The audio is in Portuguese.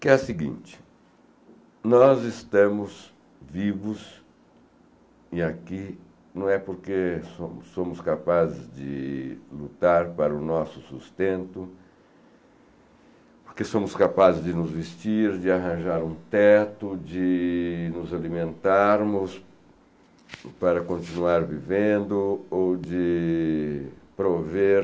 que é a seguinte, nós estamos vivos e aqui não é porque somos somos capazes de lutar para o nosso sustento, porque somos capazes de nos vestir, de arranjar um teto, de nos alimentarmos para continuar vivendo ou de prover